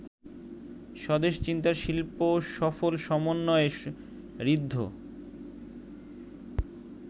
স্বদেশ চিন্তার শিল্পসফল সমন্বয়ে ঋদ্ধ